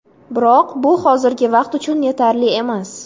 Biroq bu hozirgi vaqt uchun yetarli emas.